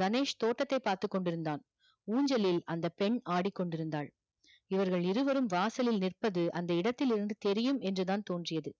கணேஷ் தோட்டதை பார்த்து கொண்டு இருந்தான். ஊஞ்சலில் அந்த பெண் ஆடிக்கொண்டு இருந்தால் இவர்கள் இருவரும் வாசலில் நிற்பது அந்த இடத்தில் இருந்து தெரியும் என்றுதான் தோன்றியது